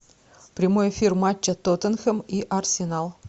прямой эфир матча тоттенхэм и арсенал